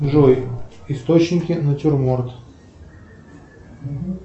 джой источники натюрморт